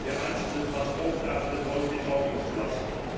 der einzelnen Transportarten aus den Augen zu lassen.